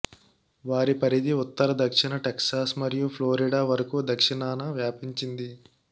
వారి పరిధి ఉత్తర దక్షిణ టెక్సాస్ మరియు ఫ్లోరిడా వరకు దక్షిణాన వ్యాపించింది